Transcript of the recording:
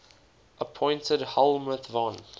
appointed helmuth von